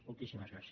moltíssimes gràcies